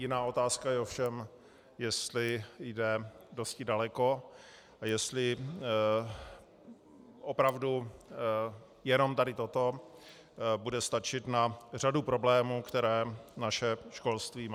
Jiná otázka je ovšem, jestli jde dosti daleko a jestli opravdu jenom tady toto bude stačit na řadů problémů, které naše školství má.